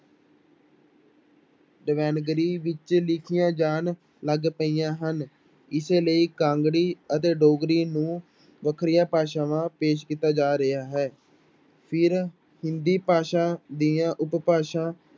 ਦੇਵਨਾਗਰੀ ਵਿੱਚ ਲਿਖੀਆਂ ਜਾਣ ਲੱਗ ਪਈਆਂ ਹਨ, ਇਸੇ ਲਈ ਕਾਂਗੜੀ ਅਤੇ ਡੋਗਰੀ ਨੂੰ ਵੱਖਰੀਆਂ ਭਾਸ਼ਾਵਾਂ ਪੇਸ਼ ਕੀਤਾ ਜਾ ਰਿਹਾ ਹੈ, ਫਿਰ ਹਿੰਦੀ ਭਾਸ਼ਾ ਦੀਆਂ ਉਪਭਾਸ਼ਾ